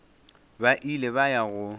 ba ile ba ya go